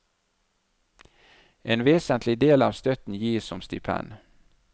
En vesentlig del av støtten gis som stipend.